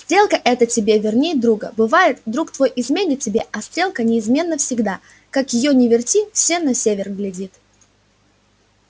стрелка эта тебе верней друга бывает друг твой изменит тебе а стрелка неизменно всегда как её ни верти все на север глядит